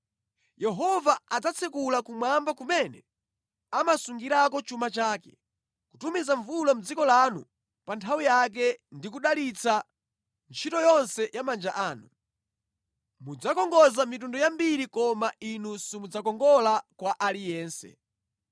Yehova adzatsekula kumwamba kumene amasungirako chuma chake, kutumiza mvula mʼdziko lanu pa nthawi yake ndi kudalitsa ntchito yonse ya manja anu. Mudzakongoza mitundu yambiri koma inu simudzakongola kwa aliyense.